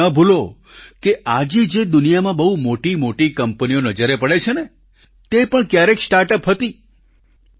અને તમે એ ન ભૂલો કે આજે જે દુનિયામાં બહુ મોટીમોટી કંપનીઓ નજરે પડે છે ને તે પણ ક્યારેક સ્ટાર્ટઅપ હતી